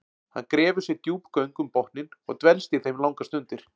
Hann grefur sér djúp göng um botninn og dvelst í þeim langar stundir.